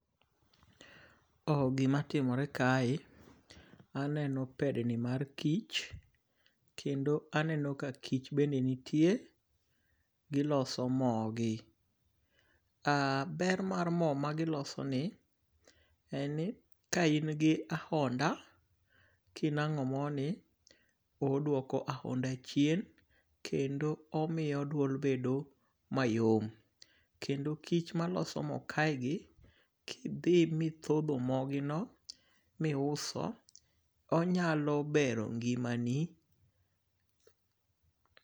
Gima timore kae aneno pedni mar kich. Kendo aneno ka kich bende nitie. Giloso mo gi. Ber mar mo magiloso ni, en ni ka in gi ahonda, kinang'o mo ni odwoko ahonda chien kendo omiyo duol bedo mayom. Kendo kIch maloso mo kae gi, kidhi mithodho mogino miuso, onyalo bero ngimani.